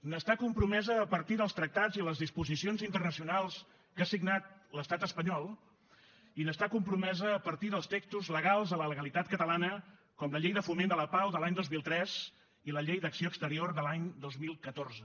hi està compromesa a partir dels tractats i les disposicions internacionals que ha signat l’estat espanyol i hi està compromesa a partir dels textos legals de la legalitat catalana com la llei de foment de la pau de l’any dos mil tres i la llei d’acció exterior de l’any dos mil catorze